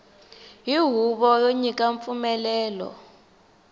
hi huvo yo nyika mpfumelelo